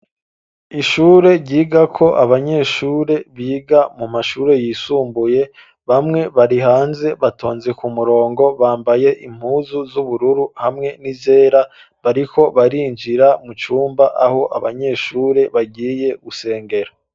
Ishure ryigako abanyeshure biga mu mashuri yisumbuye ,bamwe bari hanze batonze ku murongo bambaye impuzu z'ubururu hamwe n'izera, bariko barinjira mu cumba aho abanyeshure bagiye gusengera.